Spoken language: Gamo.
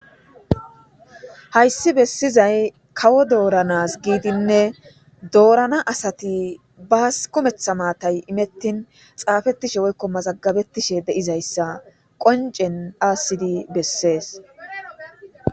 Hayssi bessizay kawo dooranas giidinne doorana asati baas komeththa maatay imettin xaafettishe woykko mazagabettishe de'izayssa qoncen dhaassidi bessees.